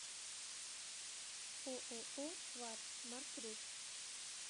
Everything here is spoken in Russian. ооо кварц маршрут